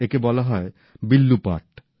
একে বলা হয় বিল্লুপাট